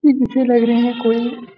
मुझे लग रहा कोई --